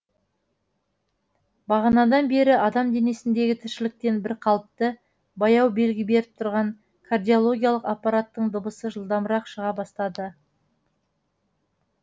бағанадан бері адам денесіндегі тіршіліктен бірқалыпты баяу белгі беріп тұрған кардиологиялық аппараттың дыбысы жылдамырақ шыға бастады